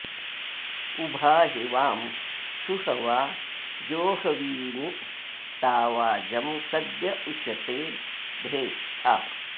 उभा हि वां सुहवा जोहवीमि ता वाजं सद्य उशते धेष्ठा